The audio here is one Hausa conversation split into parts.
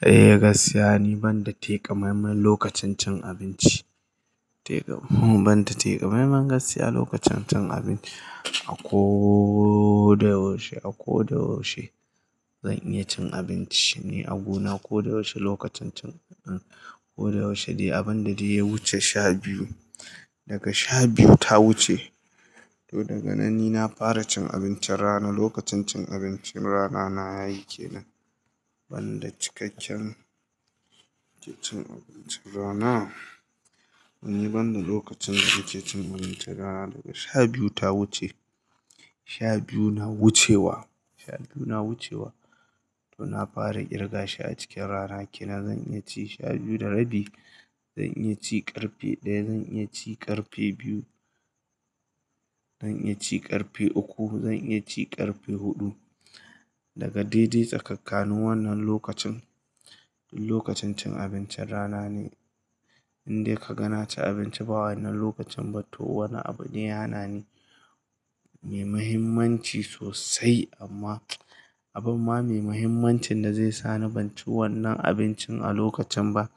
Eh, gaskiya ne ban da teƙa maimai lokacin cin abinci. Ban da teƙa maimai gaskiya lokacin cin abinci. A ko da yaushe, a ko da yaushe zan iya cin abinci ne a gona ko da yaushe lokacin cin-- ko da yaushe dai abin da dai ya wuce sha biyu. Daga sha biyu ta wuce, to daga nan ni na fara cin abincin rana. Lokacin cin abincin rana na yayi ke nan ban da cikakken cin abincin rana. Ni ban da lokacin da zai ci abincin rana daga sha biyu ta wuce. Sha biyu na wucewa, sha biyu na wucewa to na fara kirga shi a cikin rana. Kenan zan iya ci sha biyu da rabi, zan iya ci ƙarfe ɗaya, zan iya ci ƙarfe biyu, zan iya ci ƙarfe uku, zan iya ci ƙarfe huɗu. Daga dai dai tsakankanin wannan lokacin, lokacin cin abincin rana ne. Inde ka ga na ci abinci ba wannan lokacin ba to wani abu ne ya na ni mai muhimmanci sosai amma abin ma mai muhimmancin da zai sa na ban ci wannan abincin a lokacin ba.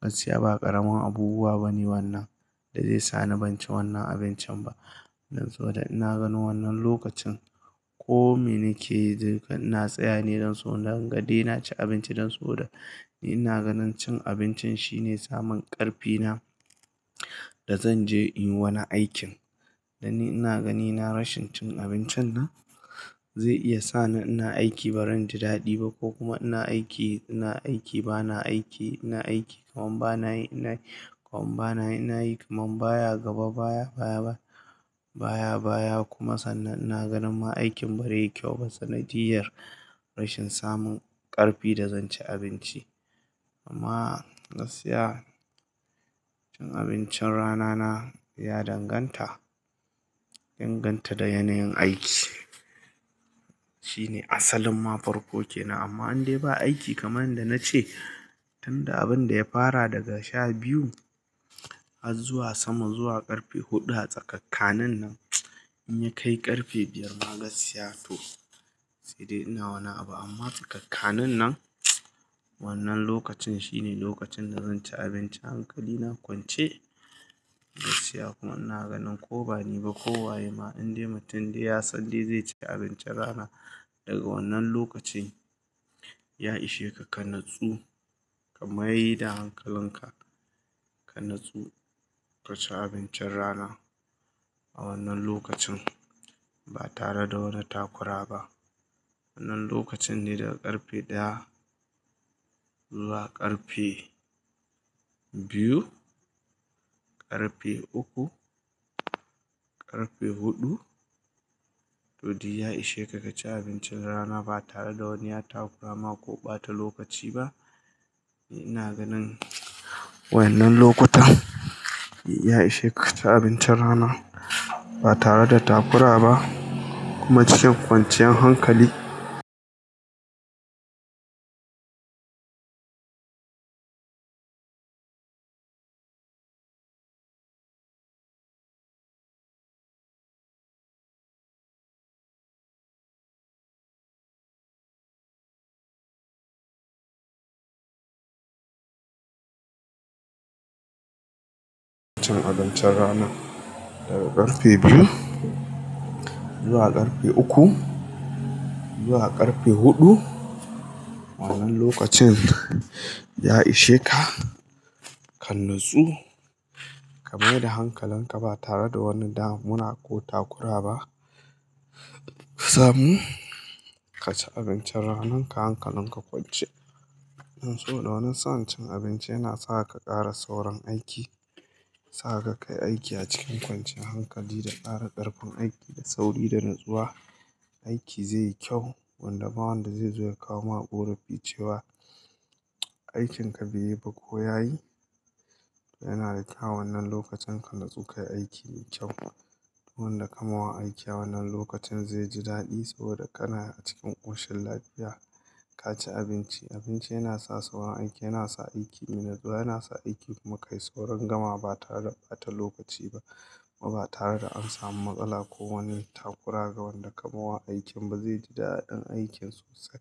Gaskiya ba ƙaramin abubuwa bane wannan da zai sa na ban ci wannan abincin ba. Dan saboda ina ganin wannan lokacin ko me nake na tsaya ne don so na dangan dai na ci abinci don saboda ina ganin cin abincin shine samun ƙarfi na da zan je in yi wani aikin. Dan ni ina ganin ina rashin cin abincin nan zai iya sa ni ina aiki ba ran ji daɗi ba ko kuma ina aiki, ina aiki ba na aiki, ina aiki kaman ba na yi, ina yi kaman ba na yi, ina yi kaman baya gaba baya baya baya baya kuma sannan ina ganin ma aikin bari yi kyau ba. Sanadiyar rashin samun ƙarfi da zan ci abinci. Amma gaskiya cin abincin rana na ya danganta, danganta da yanayin aiki. Shine asalin mafarkoke na amma indai ba aiki kamar yanda na ce tunda abin da ya fara daga sha biyu har zuwa sama zuwa ƙarfe huɗu a tsakankanin nan in ya kai ƙarfe biyar ma gaskiya to sai dai ina wannan abu. Amma tsakankanin nan wannan lokacin shine lokacin da zan ci abinci hankali na kwance. Gaskiya kuma ina ganin ko bane ba ko waye ma indai mutum dai ya san zai ci abincin rana daga wannan lokacin, ya ishe ka ka natsu kamaida hankalin ka. Ka natsu ka ci abincin rana a wannan lokacin ba tare da wani takura ba. Wannan lokacin ne daga ƙarfe ɗaya zuwa ƙarfe biyu, ƙarfe uku, ƙarfe huɗu to dai ya ishe ka ka ci abincin rana ba tare da wani ya takura ma ko bata lokaci ba. Ina ganin wannan lokutan ya ishe ka ka ci abincin rana ba tare da takura ba kuma cikin kwanciyar hankali. Cin abincin rana daga ƙarfe biyu zuwa ƙarfe uku zuwa ƙarfe huɗu. Wannan lokacin ya ishe ka, ka natsu kamai da hankalin ka ba tare da wani damuna ko takura ba. Samun ka ci abincin ranan ka hankalin ka kwance. Don saboda wannan sa'n cin abinci yana sa ka ƙara sauran aiki, yana sa ka kai aiki a cikin kwanciyar hankali da ƙara ƙarfin aiki da sauri da natsuwa. Aiki zai yi kyau wanda ma wanda zai zo ya kawo maƙura fi cewa aikinka bai yi ba ko ya yi. Yana da kyau wannan lokacin ka natsu kayi aiki ne kyau. Wanda ka ma aiki a wannan lokacin zai ji daɗi saboda kana cikin ƙoshin lafiya. Ka ci abinci, abinci yana sa sauran aiki, yana sa aiki yana zuwa, yana sa aiki kuma ka yi sauran gama ba tare da bata lokaci ba kuma ba tare da an samu matsala ko wani takura ga wanda ka ma aikin ba zai ji daɗin aikin sosai.